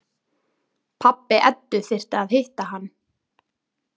Pabbi Eddu þyrfti að hitta hann.